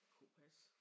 Kunne passe